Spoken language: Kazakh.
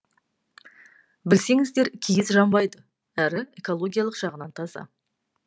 білсеңіздер киіз жанбайды әрі экологиялық жағынан таза